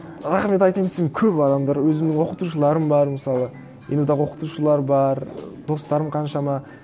рахмет айтайын десем көп адамдар өзімнің оқытушыларым бар мысалы ену дағы оқытушылар бар і достарым қаншама